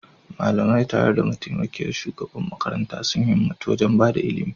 Malamai, tare da mataimakiyar shugaban makarantar, sun himmatu wajen ba da ilimi